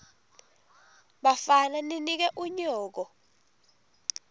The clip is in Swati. bafana ninike unyoko